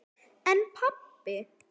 En pabbi?